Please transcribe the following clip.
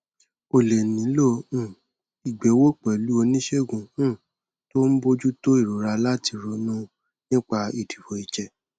o lè nílò um ìgbéwò pẹlú oníṣègùn um tó ń bójú tó ìrora láti ronú nípa ìdìbò ìjẹ